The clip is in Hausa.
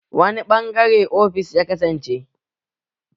Wani ɓangare offis ya kasance?